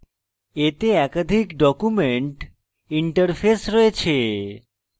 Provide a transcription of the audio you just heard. এতে একাধিক document interface রয়েছে